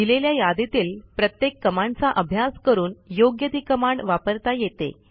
दिलेल्या यादीतील प्रत्येक कमांडचा अभ्यास करून योग्य ती कमांड वापरता येते